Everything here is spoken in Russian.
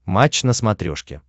матч на смотрешке